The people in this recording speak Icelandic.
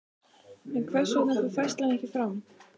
En hvers vegna fór færslan ekki fram?